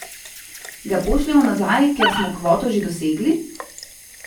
Ga pošljemo nazaj, ker smo kvoto že dosegli?